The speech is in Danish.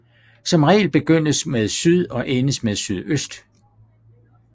Som regel begyndes med syd og endes med sydøst